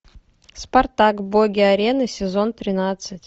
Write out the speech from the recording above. спартак боги арены сезон тринадцать